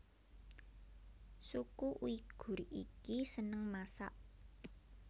Suku Uighur iki seneng masak